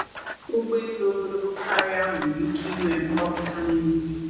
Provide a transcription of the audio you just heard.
Ụgbọ elu ogologo karịa nwere ike ịnwe mgbapụta na eriri.